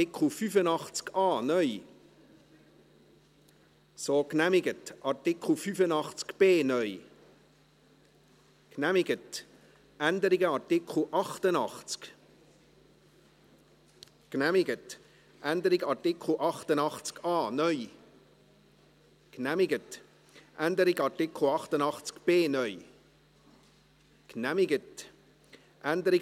Da es hier um einen Antrag der FiKo-Minderheit auf einen neuen Absatz geht, den die FiKo-Mehrheit und der Regierungsrat nicht wollten, gibt es auch kein Ausmehren.